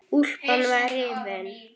Úlpan var rifin.